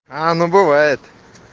а ну бывает